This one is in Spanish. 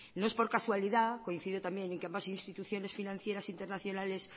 no es por casualidad coincide también en que ambas instituciones financieras internacionales